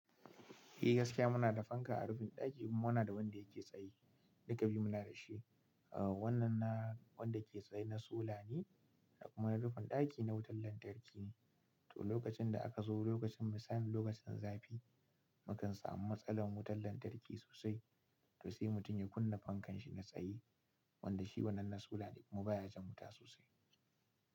Eh gaskiya muna da fanka a rufin ɗaki kuma muna da wanda yake tsaye, duka biyu muna da shi. Ah wannan na wanda yake tsaye na suna ne kuma na rufin ɗaki na wutar lantarki ne. To lokacin da aka zo lokacin mu sani lokacin zafi, mukan samu matsalar wutar lantarki sosai. To sai mutum ya kunna fankan shi na tsaye wanda shi wannan na suna ne kuma baya jan wuta sosai.